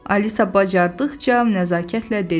Alisa bacardıqca nəzakətlə dedi.